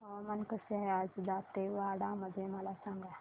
हवामान कसे आहे आज दांतेवाडा मध्ये मला सांगा